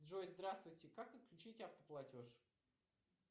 джой здравствуйте как отключить автоплатеж